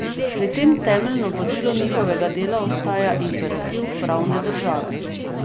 Pri tem temeljno vodilo njihovega dela ostaja imperativ pravne države.